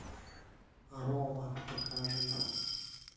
рома покажи